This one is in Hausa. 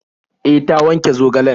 E, ta wanke zogalen.